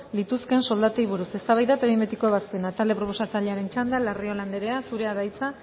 lituzketen soldatei buruz eztabaida eta behin betiko ebazpena talde proposatzailearen txanda larrion andrea zurea da hitza